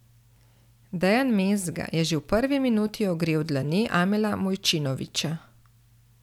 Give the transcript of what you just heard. Dejan Mezga je že v prvi minuti ogrel dlani Amela Mujčinovića.